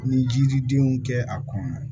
Ni jiridenw kɛ a kɔnɔ